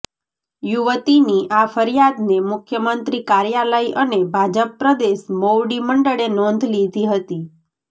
યુવતીની આ ફરિયાદને મુખ્યમંત્રી કાર્યાલય અને ભાજપ પ્રદેશ મોવડી મંડળે નોંધ લીધી હતી